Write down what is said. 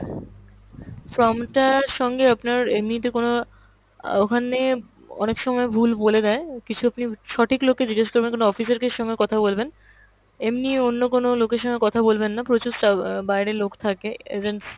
form টার সঙ্গে আপনার এমনিতে কোনো অ্যাঁ ওখানে অনেক সময় ভুল বলে দেয়, কিছু আপনি সঠিক লোক কে জিজ্ঞেস করবেন, কোনো officer কে সঙ্গে কথা বলবেন। এমনি অন্য কোনো লোকের সঙ্গে কথা বলবেন না, প্রচুর সা~ অ্যাঁ বাইরে লোক থাকে, agents